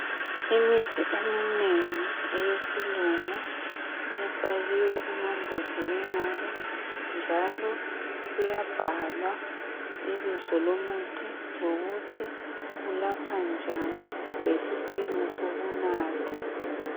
Imithi eminengi eyesilungu ifakiwe emambodleleni ayo njalo kuyabhalwa ibizo lomuthi lokuthi unathwa njani lesipimo sokunatha.